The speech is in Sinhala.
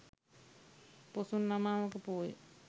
පොසොන් අමාවක පෝය